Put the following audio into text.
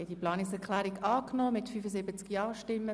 Sie haben diese Planungserklärung angenommen.